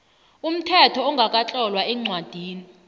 umthetho ongakatlolwa eencwadini